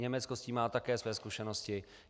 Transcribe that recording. Německo s tím má také své zkušenosti.